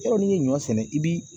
Yɔrɔ n'i ye ɲɔ sɛnɛ i bi